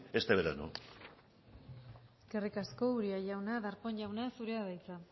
este verano eskerrik asko uria jauna darpón jauna zurea da hitza